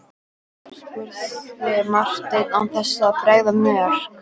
spurði Marteinn án þess að bregða mjög.